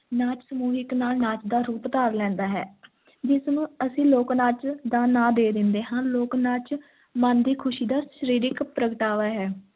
ਨਾਚ ਸਮੂਹਿਕ ਨਾ~ ਨਾਚ ਦਾ ਰੂਪ ਧਾਰ ਲੈਂਦਾ ਹੈ ਜਿਸ ਨੂੰ ਅਸੀਂ ਲੋਕ-ਨਾਚ ਦਾ ਨਾਂ ਦੇ ਦਿੰਦੇ ਹਾਂ, ਲੋਕ-ਨਾਚ ਮਨ ਦੀ ਖ਼ੁਸ਼ੀ ਦਾ ਸਰੀਰਿਕ ਪ੍ਰਗਟਾਵਾ ਹੈ।